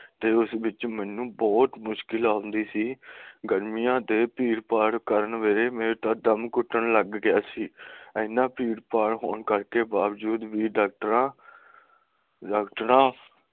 ਤੇ ਉਸ ਵਿੱਚ ਮੈਨੂੰ ਬਹੁਤ ਮੁਸ਼ਕਿਲਾਂ ਹੁੰਦੀ ਸੀ ਗਰਮੀਆਂ ਦੇ ਭੀੜ ਭਾੜ ਕਰਕੇ ਮੇਰਾ ਤਾਂ ਦਮ ਘੁੱਟਣ ਲੱਗ ਗਿਆ ਸੀ ਇੰਨਾ ਭੀੜ ਭਾੜ ਹੋਣ ਕਰਕੇ ਬਾਵਜੂਦ ਵੀ ਡਾਕਟਰਾਂ ਡਾਕਟਰਾਂ